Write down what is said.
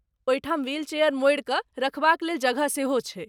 ओहिठाम wheelchair मोड़ि कऽ रखबाक लेल जगह सेहो छै।